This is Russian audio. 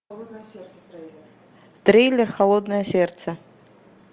трейлер холодное сердце